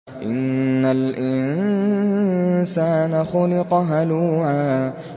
۞ إِنَّ الْإِنسَانَ خُلِقَ هَلُوعًا